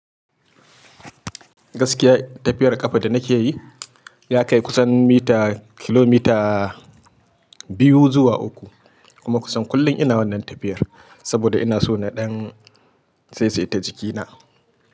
Gaskiya tafiyar ƙafa da nake yi ya kai kusan mita, kilomita biyu zuwa uku kuma kusan kullum ina wannan tafiyar saboda ina so na ɗan saisaita jikina.